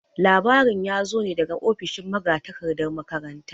Labarin ya zo ne daga ofishin magatakardan makaranta.